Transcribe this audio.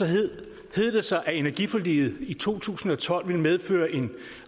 hed det sig at energiforliget i to tusind og tolv ville medføre en